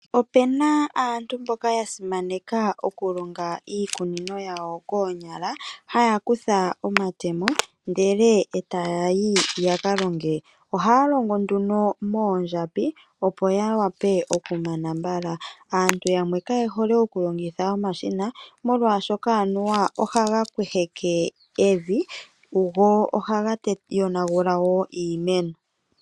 Opuna aantu mboka ya simaneka oku longa iikunino yawo koonyala haya kutha omatemo ndele etaya yi yaka longe, ohaya longo nduno moondjambi opo ya wape ya mane mbala. Aantu yamwe kaye hole oku longitha omashina, molwaashoka anuwa ohaga kweheke evi go ohaga yonagula wo iimeno.